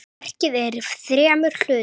Verkið er í þremur hlutum.